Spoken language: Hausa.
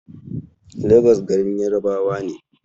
Legas garin Yarabawa ne.